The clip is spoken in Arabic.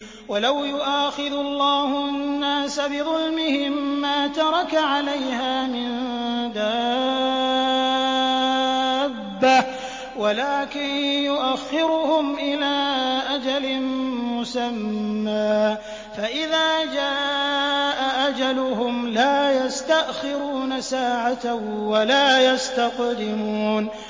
وَلَوْ يُؤَاخِذُ اللَّهُ النَّاسَ بِظُلْمِهِم مَّا تَرَكَ عَلَيْهَا مِن دَابَّةٍ وَلَٰكِن يُؤَخِّرُهُمْ إِلَىٰ أَجَلٍ مُّسَمًّى ۖ فَإِذَا جَاءَ أَجَلُهُمْ لَا يَسْتَأْخِرُونَ سَاعَةً ۖ وَلَا يَسْتَقْدِمُونَ